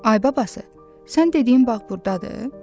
Ay babası, sən dediyin bağ burdadır?